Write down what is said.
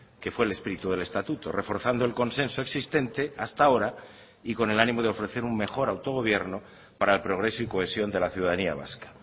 que fue el espíritu del estatuto reforzando el consenso existente hasta ahora y con el ánimo de ofrecer un mejor autogobierno para el progreso y cohesión de la ciudadanía vasca